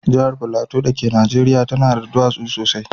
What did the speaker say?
Jahar Plateau dake Najeriya tana da dutsuna sosai.